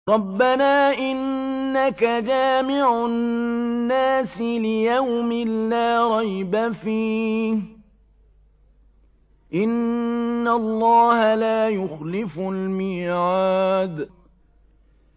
رَبَّنَا إِنَّكَ جَامِعُ النَّاسِ لِيَوْمٍ لَّا رَيْبَ فِيهِ ۚ إِنَّ اللَّهَ لَا يُخْلِفُ الْمِيعَادَ